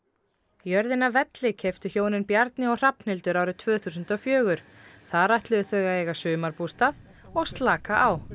jörðina velli keyptu hjónin Bjarni og Hrafnhildur árið tvö þúsund og fjögur þar ætluðu þau að eiga sumarbústað og slaka á